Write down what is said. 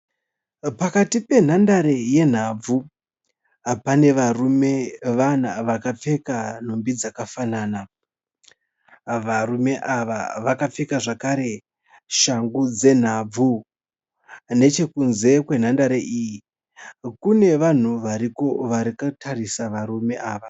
Pakati penhandare yenhabvu, pane varume vana vakapfeka nhumbi dzakafanana. Varume ava vakapfeka zvakare shangu dzenhabvu. Nechekunze kwenhandare iyi kune vanhu variko vakatarisa varume ava.